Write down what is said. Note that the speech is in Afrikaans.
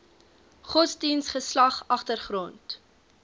godsdiens geslag agtergrond